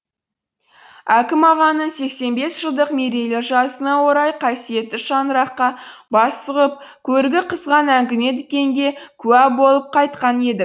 әкім ағаның сексен бес жылдық мерейлі жасына орай қасиетті шаңыраққа бас сұғып көрігі қызған әңгіме дүкенге куә болып қайтқан едік